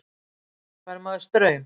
Fær maður straum?